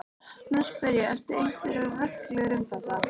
Nú spyr ég- eru einhverjar reglur um þetta?